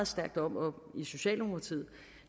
stærkt op om i socialdemokratiet